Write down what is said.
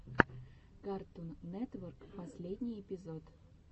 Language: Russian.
картун нетворк последний эпизод